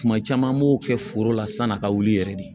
Tuma caman n b'o kɛ foro la san'a ka wuli yɛrɛ de